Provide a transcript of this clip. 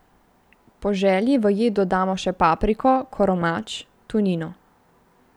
Po želji v jed dodamo še papriko, koromač, tunino ...